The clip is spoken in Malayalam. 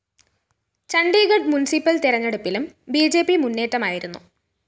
ചണ്ഡീഗഢ് മുന്‍സിപ്പല്‍ തെരഞ്ഞെടുപ്പിലും ബി ജെ പി മുന്നേറ്റമായിരുന്നു